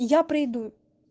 я приду